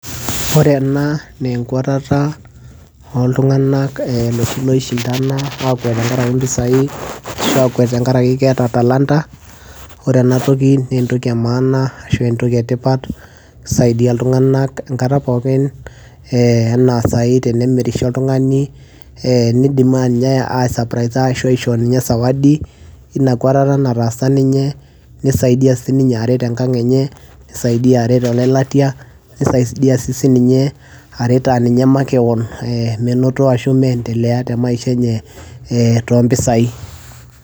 ore ena naa enkuatata oltung'anak eh, loshi loishindana akwet tenkarake impisai ashu akwet tenkarake keeta talanta ore enatoki naa entoki e maana ashu entoki etipat kisaidia iltung'anak enkata pookin eh, ena sai tenemirisho oltung'ani eh, nidim anye ae sapraisa ninye ashu aisho ninye zawadi ina kuatata nataasa ninye nisaidia sininye aret enkang enye nisaidia aret olelatia nisaidia sii sininye aret aninye makewon eh, menoto ashu meendelea te maisha enye eh, tompisai.